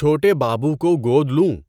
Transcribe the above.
چھوٹے بابو کو گود لوں؟